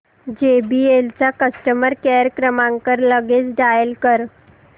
JBL चा customer care क्रमांक लगेच डायल कर